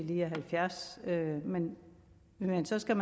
de halvfjerds år og at man man så skal